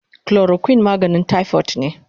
Chloroquine maganin typhoid ne